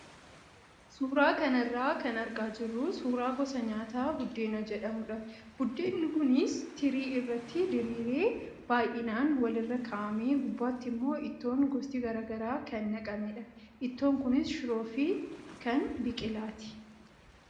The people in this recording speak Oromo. Suuraa kanarraa kan argaa jirru suuraa gosa nyaataa buddeena jedhamudha. Buddeen kuis tirii irratti diriiree baay'inaan walirra kaa'amee gubbaatti immoo ittoon gosti garaagaraa kan naqamedha. Ittoon kunis shiroo fi kan biqilaati.